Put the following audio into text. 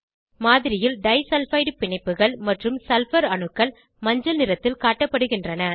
மாதிரியில் டைசல்பைடு பிணைப்புகள் மற்றும் சல்பர் அணுக்கள் மஞ்சள் நிறத்தில் காட்டப்படுகின்றன